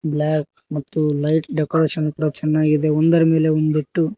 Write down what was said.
black ಮತ್ತು light decoration ಚನ್ನಾಗಿದೆ ಒಂದರ ಮೇಲೆ ಒಂದು ಇಟ್ಟು--